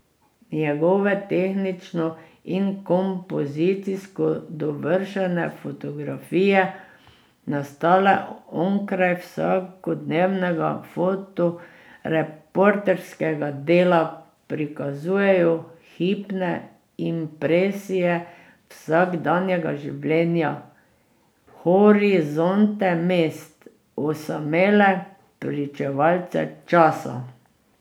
Njegove tehnično in kompozicijsko dovršene fotografije, nastale onkraj vsakodnevnega fotoreporterskega dela, prikazujejo hipne impresije vsakdanjega življenja, horizonte mest, osamele pričevalce časa.